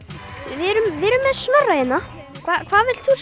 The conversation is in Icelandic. við erum með Snorra hérna hvað ert þú